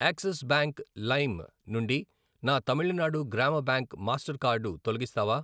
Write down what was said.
Axis bank లైమ్ నుండి నా తమిళనాడు గ్రామ బ్యాంక్ మాస్టర్ కార్డు తొలగిస్తావా?